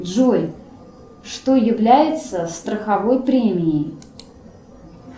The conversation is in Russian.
джой что является страховой премией